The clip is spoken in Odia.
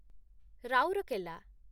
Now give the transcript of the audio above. ରାଉରକେଲା